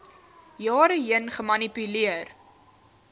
jare heen gemanipuleer